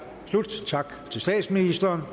om